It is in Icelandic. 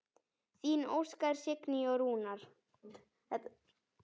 Þín Óskar, Signý og Rúnar.